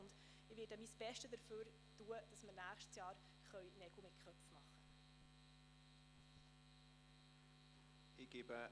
Ich werde mein Bestes dafür tun, damit wir nächstes Jahr Nägel mit Köpfen machen können.